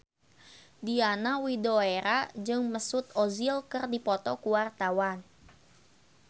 Diana Widoera jeung Mesut Ozil keur dipoto ku wartawan